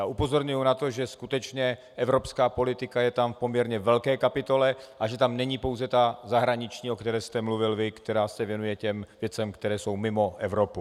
A upozorňuji na to, že skutečně evropská politika je tam v poměrně velké kapitole a že tam není pouze ta zahraniční, o které jste mluvil vy, která se věnuje těm věcem, které jsou mimo Evropu.